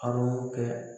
A b'o kɛ